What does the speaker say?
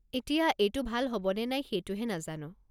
এতিয়া, এইটো ভাল হ'ব নে নাই সেইটোহে নাজানো।